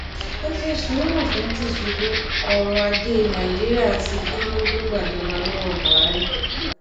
ẹ ṣe sùúrù fún tìṣíbù ọrọ ajé nàíjíríà ti kú kó tó gbàjọba lọwọ buhari